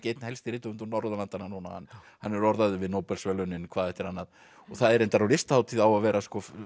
einn helsti rithöfundur Norðurlandanna núna hann er orðaður við Nóbelsverðlaun hvað eftir annað og það er reyndar á Listahátíð á að vera